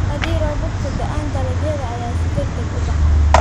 Haddii roobabku da'aan, dalagyada ayaa si degdeg ah u baxa.